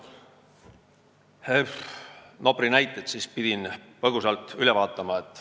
Pidin Nopri näited põgusalt üle vaatama.